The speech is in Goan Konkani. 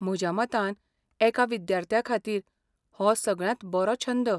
म्हज्या मतान, एका विद्यार्थ्याखातीर हो सगळ्यांत बरो छंद.